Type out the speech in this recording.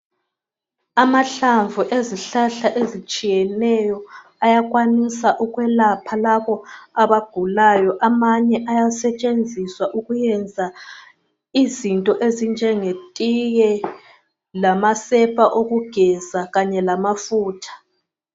Amahlamvu ezihlahla ezitshiyeneyo ayakwanisa ukwelapha labo abagulayo. Amanye ayasetshenziswa ukuyenza izinto ezinjenge tiye lamasepa okugeza kanye lamafutha.